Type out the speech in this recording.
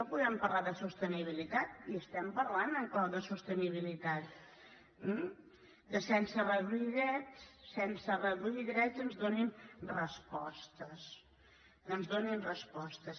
podem parlar de sostenibilitat i estem parlant en clau de sostenibilitat que sense reduir drets sense reduir drets ens donin respostes que ens donin respostes